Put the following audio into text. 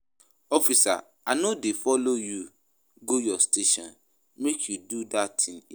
Officer I no dey follow you go your station make you do dat thing here